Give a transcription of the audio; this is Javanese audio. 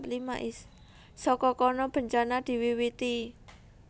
Saka kono bencana diwiwiti